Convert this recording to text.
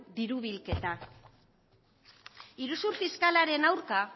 diru bilketa iruzur fiskalaren aurka